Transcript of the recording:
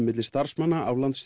milli starfsmanna